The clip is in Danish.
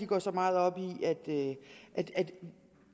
går så meget op i at vi